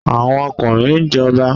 Àwọn ọkùnrin ń jọba